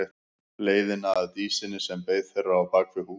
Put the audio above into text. Leiðina að Dísinni sem beið þeirra á bak við hús.